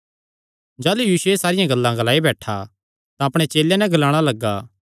जाह़लू यीशु एह़ सारियां गल्लां ग्लाई बैठा तां अपणे चेलेयां नैं ग्लाणा लग्गा